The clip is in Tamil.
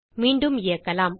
மீண்டும் இயக்கலாம்